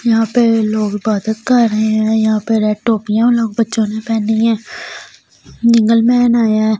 यहां पे लोग इबादत कर रहे हैं यहां पे रेड टोपियां लोग बच्चों ने पहनी है नीगल मैन आया है।